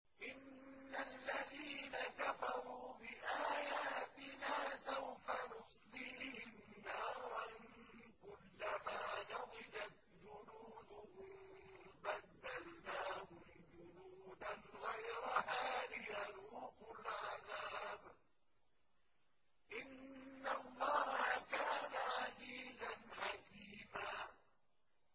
إِنَّ الَّذِينَ كَفَرُوا بِآيَاتِنَا سَوْفَ نُصْلِيهِمْ نَارًا كُلَّمَا نَضِجَتْ جُلُودُهُم بَدَّلْنَاهُمْ جُلُودًا غَيْرَهَا لِيَذُوقُوا الْعَذَابَ ۗ إِنَّ اللَّهَ كَانَ عَزِيزًا حَكِيمًا